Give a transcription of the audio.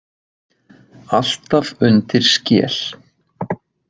Alltaf undir skel.